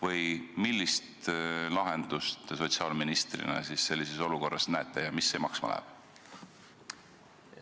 Või millist lahendust te sotsiaalministrina sellises olukorras ette näete ja mis see maksma läheb?